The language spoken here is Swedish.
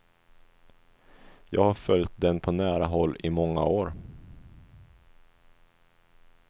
Jag har följt den på nära håll i många år.